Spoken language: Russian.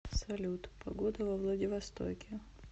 салют погода во владивостоке